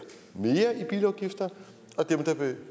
mere i bilafgifter og dem der